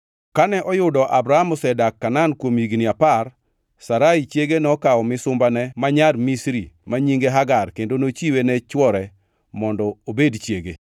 Kane oyudo Abram osedak Kanaan kuom higni apar, Sarai chiege nokawo misumbane ma nyako Misri, ma nyinge Hagar kendo nochiwe ne chwore mondo obed chiege.